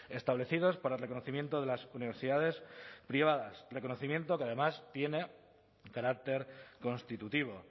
establecidos para el reconocimiento de las universidades privadas reconocimiento que además tiene carácter constitutivo